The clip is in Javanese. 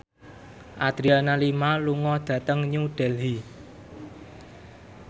Adriana Lima lunga dhateng New Delhi